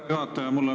Aitäh, härra juhataja!